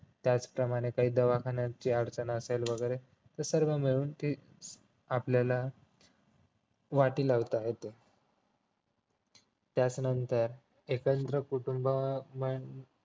त्याचप्रमाणे काही दवाखान्याची अडचण असेल वगैरे तर सर्व मिळून ती आपल्याला वाटी लावता येतो त्याचं नंतर एकत्र कुटुंबा